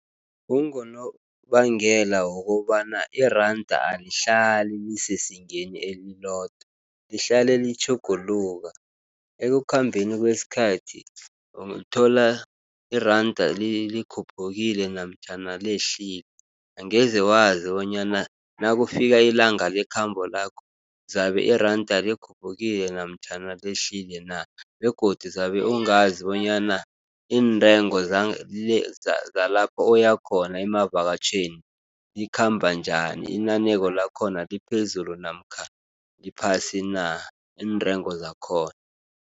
Kungonobangela wokobana iranda alihlali lisezingeni elilodwa, lihlale litjhuguluka. Ekukhambeni kwesikhathi, uthola iranda likhuphukile, namtjhana lehlile. Angeze wazi bonyana nakufika ilanga lekhambo lakho, zabe iranda likhuphukile namtjhana lehlile na, begodu zabe ungazi bonyana iintengo zalapho oyakhona emavakatjhweni, likhamba njani inaneko lakhona liphezulu, namkha liphasi na, iintrengo zakhona.